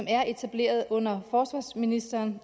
er etableret under forsvarsministeren